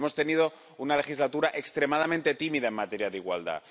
Hemos tenido una legislatura extremadamente tímida en materia de igualdad.